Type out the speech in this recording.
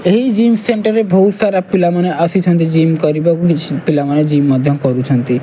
ଏହି gym centre ରେ ବହୁତ୍ ସାରା ପିଲାମାନେ ଆସିଛନ୍ତି ଜିମ୍ କରିବାକୁ କିଛି ପିଲାମାନେ ଜିମ୍ ମଧ୍ୟ କରୁଛନ୍ତି।